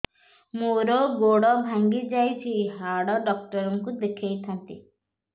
ମୋର ଗୋଡ ଭାଙ୍ଗି ଯାଇଛି ହାଡ ଡକ୍ଟର ଙ୍କୁ ଦେଖେଇ ଥାନ୍ତି